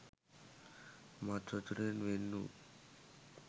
මත් වතුරෙන් වෙන් වූ